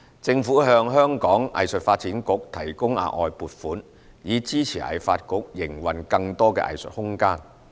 政府向藝發局提供額外撥款，以支持藝發局營運更多藝術空間。